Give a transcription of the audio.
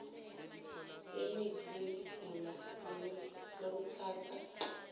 temitsi yekugula lokutsatsa